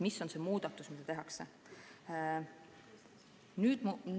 Milline muudatus tehakse?